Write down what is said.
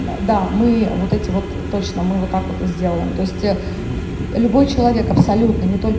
э да мы вот эти вот точно мы вот так вот и сделаем то есть любой человек любой человек абсолютно не только